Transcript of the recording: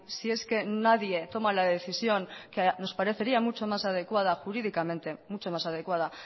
si es que nadie toma la decisión que nos parecería mucho más adecuada jurídicamente mucho más adecuada